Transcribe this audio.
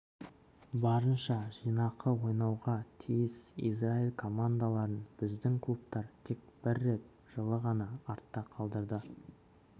барынша жинақы ойнауға тиіс израиль командаларын біздің клубтар тек бір рет жылы ғана артта қалдырды